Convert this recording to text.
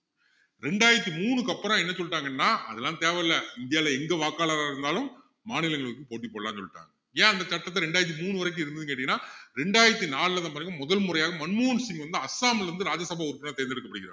ரெண்டாயிரத்து மூணுக்கு அப்புறம் என்னா சொல்லிட்டாங்கன்னா அதெல்லாம் தேவையில்ல இந்தியாவுல எங்க வாக்காளரா இருந்தாலும் மாநிலங்களுக்கு போட்டி போடலான்னு சொல்லிட்டாங்க ஏன் அந்த சட்டத்தை ரெண்டாயிரத்து மூணு வரைக்கும் இருந்ததுன்னு கேட்டீங்கன்னா ரெண்டாயிரத்து நாலுலதான் பாத்திங்கன்னா முதன்முறையாக மன்மோகன் சிங் வந்து அஸ்ஸாம்ல இருந்து ராஜ்ய சபா உறுப்பினரா வந்து தேர்ந்தெடுக்கப்படுகிறார்